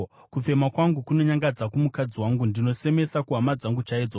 Kufema kwangu kunonyangadza kumukadzi wangu; ndinosemesa kuhama dzangu chaidzo.